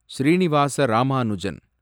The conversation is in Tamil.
ஸ்ரீநிவாச ராமானுஜன்